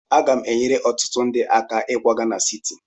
Aga m enyere ọtụtụ ndị aka ịkwaga na siti.